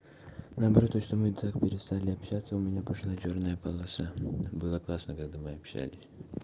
наоборот то что мы так перестали общаться у меня пошла чёрная полоса было классно когда мы общались